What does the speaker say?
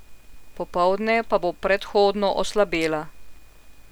Popoldne pa bo prehodno oslabela.